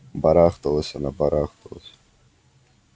барахталась она барахталась